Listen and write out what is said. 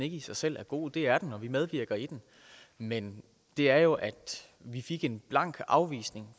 ikke i sig selv er god det er den og vi medvirker i den men det er jo at vi fik en blank afvisning